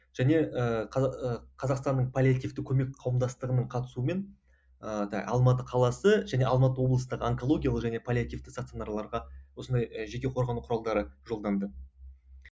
және ы қазақстанның паллиативтік көмек қауымдастығының қатысуымен ыыы алматы қаласы және алматы облыстық онкологиялық және паллиативті стационарларға осындай жеке қорғану құралдары жолданды